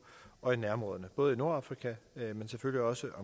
og i nærområderne både i nordfrika men selvfølgelig også